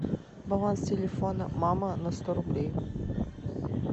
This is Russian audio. баланс телефона мама на сто рублей